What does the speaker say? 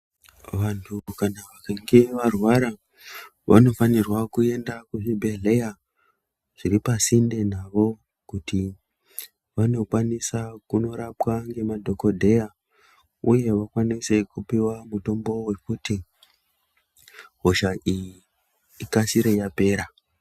Vanhu kana vakange varwara vanofanirwa kuenda kuzvibhehleya zviri pasinde navo kuti vanokwanisa kunorapwa nemadhokodheya uye vakwaninise kupiwa mutombo wekuti hosha iyi ikasire yapera.